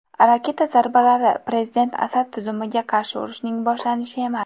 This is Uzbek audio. Raketa zarbalari prezident Asad tuzumiga qarshi urushning boshlanishi emas.